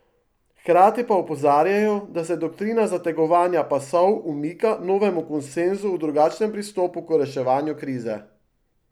Hkrati pa opozarjajo, da se doktrina zategovanja pasov umika novemu konsenzu o drugačnem pristopu k reševanju krize.